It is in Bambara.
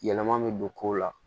Yɛlɛma bɛ don kow la